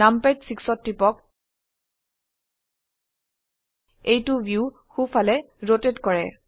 নামপাদ 6 ত টিপক এইটো ভিউ সো ফালে ৰোটেট কৰে